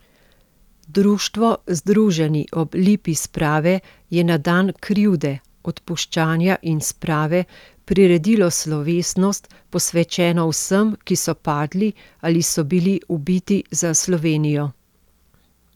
Društvo Združeni ob Lipi sprave je na dan krivde, odpuščanja in sprave priredilo slovesnost, posvečeno vsem, ki so padli ali so bili ubiti za Slovenijo.